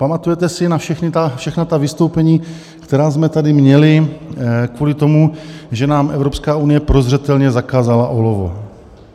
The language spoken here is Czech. Pamatujete si na všechna ta vystoupení, která jsme tady měli kvůli tomu, že nám Evropská unie prozřetelně zakázala olovo?